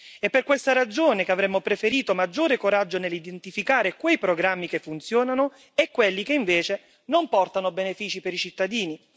È per questa ragione che avremmo preferito maggiore coraggio nell'identificare quei programmi che funzionano e quelli che invece non portano benefici per i cittadini.